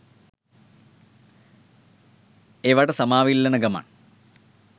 ඒවට සමාව ඉල්ලන ගමන්